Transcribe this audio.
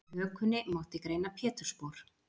Í hökunni mátti greina pétursspor.